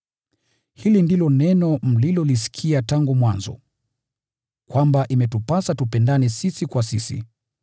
Hili ndilo neno mlilolisikia tangu mwanzo: Kwamba imetupasa tupendane sisi kwa sisi.